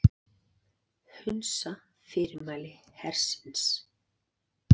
Hunsa fyrirmæli hersins